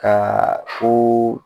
Ka fo